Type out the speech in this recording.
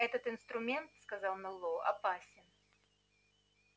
этот инструмент сказал мэллоу опасен